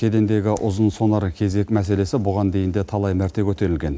кедендегі ұзын сонар кезек мәселесі бұған дейін де талай мәрте көтерілген